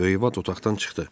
Böyük Bat otaqdan çıxdı.